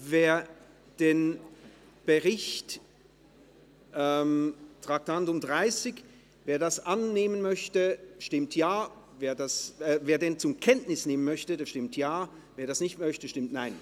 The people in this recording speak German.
Wer den Bericht zur Kenntnis nehmen möchte, stimmt Ja, wer dies ablehnt, stimmt Nein.